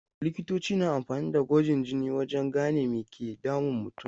Likitoci na amfani da gwajin jini wajen gane me ke damun mutum.